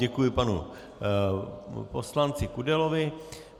Děkuji panu poslanci Kudelovi.